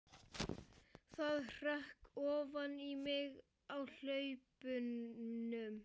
Það hrökk ofan í mig á hlaupunum.